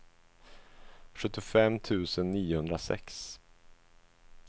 sjuttiofem tusen niohundrasex